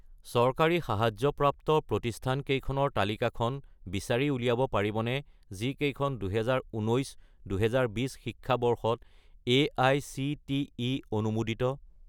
চৰকাৰী সাহায্যপ্ৰাপ্ত প্ৰতিষ্ঠানকেইখনৰ তালিকাখন বিচাৰি উলিয়াব পাৰিবনে যিকেইখন 2019 - 2020 শিক্ষাবৰ্ষত এআইচিটিই অনুমোদিত?